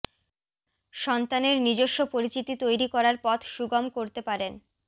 সন্তানের নিজস্ব পরিচিতি তৈরি করার পথ সুগম করতে পারেন